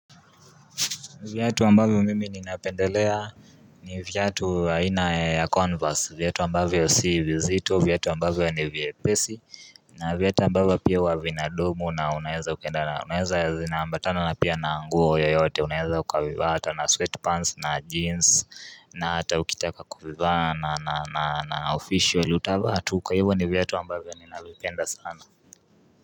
Viatu ambavyo mimi ni napendelea ni viatu aina ya Converse viatu ambavyo si vizito viatu ambavyo ni viepesi na viatu ambavyo pia huwa vinadumu na unaeza ukaenda na unaweza zina ambatana na pia na nguo yoyote unaweza ukavivaa hata na sweatpants na jeans na hata ukitaka kuvivaa na official utavaa tu kwa hivyo ni viatu ambavyo ni navipenda sana.